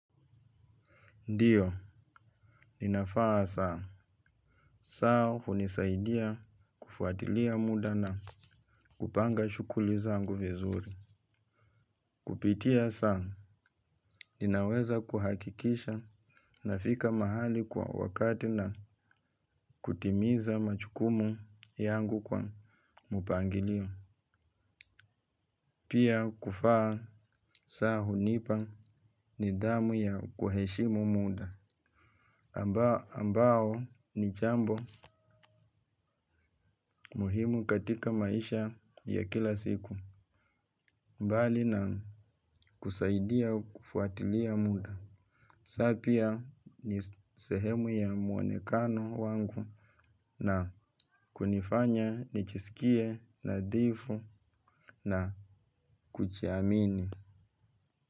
Ndio, ninavaa saa, saa hunisaidia kufuatilia muda na kupanga shughuli zangu vizuri. Kupitia saa, ninaweza kuhakikisha nafika mahali kwa wakati na kutimiza majukumu yangu kwa mpangilio. Pia kuvaa saa hunipa nidhamu ya kuheshimu muda, ambao ni jambo muhimu katika maisha ya kila siku, mbali na kusaidia kufuatilia muda. Saa pia ni sehemu ya muonekano wangu na kunifanya nijisikie nadhifu na kujiamini.